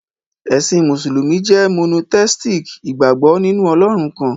Ẹ̀sìn Mùsùlùmí jẹ́ monotheistic, ìgbàgbọ́ nínú Ọlọ́run kan.